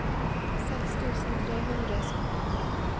seks tusen tre hundre og sytten